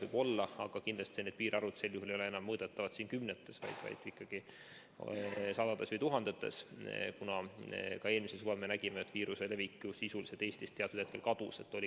Võib-olla, aga kindlasti need piirarvud sel juhul ei ole enam mõõdetavad kümnetes, vaid sadades või tuhandetes, kuna ka eelmisel suvel me nägime, et viiruse levik ju Eestis teatud hetkel sisuliselt kadus.